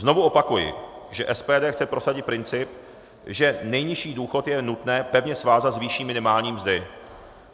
Znovu opakuji, že SPD chce prosadit princip, že nejnižší důchod je nutné pevně svázat s výší minimální mzdy.